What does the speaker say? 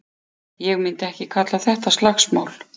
Ég myndi ekki kalla þetta slagsmál.